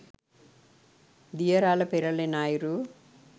දිය රළ පෙරළෙන අයුරු